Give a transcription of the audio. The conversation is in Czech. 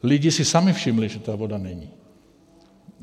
Lidi si sami všimli, že ta voda není.